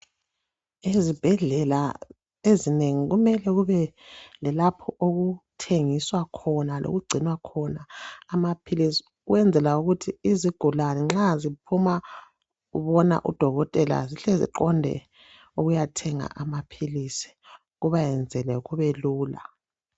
Ezibhedlela ezinengi kumele kube lalapha okuthengiswa khona lokungcinwa khona amaphilizi ukwenzela ukuthi izigulane nxa ziphuma bona udokotela zihle ziqonde ukuyathenga amaphilisi kubayenzele kubelula.